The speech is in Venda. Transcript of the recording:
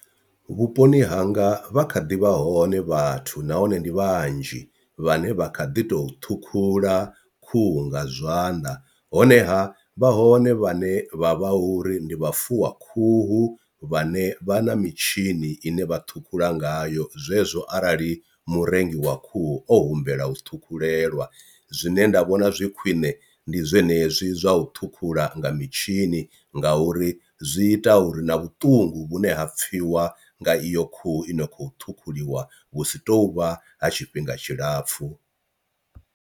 Vhuponi hanga vha kha ḓi vha hone vhathu nahone ndi vhanzhi vhane vha kha ḓi tou ṱhukhula khuhu nga zwanḓa, honeha vha hone vhane vha vha hu uri ndi vha fuwa khuhu vhane vha na mitshini ine vha ṱhukhula ngayo zwezwo arali murengi wa khuhu o humbela u thukhulelwa. Zwine nda vhona zwi khwine ndi zwenezwi zwa u ṱhukhula nga mitshini nga uri zwi ita uri na vhuṱungu vhune ha pfhiwa nga iyo khuhu ino khou ṱhukhuliwa vhu si tovha ha tshifhinga tshilapfhu.